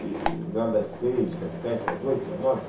E das seis, das sete, das oito, das nove.